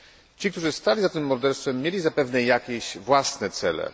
Ci, którzy stali za tym morderstwem mieli zapewne jakieś własne cele.